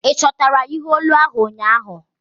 Ị chọtara ihe olu ahu ụnyaahụ?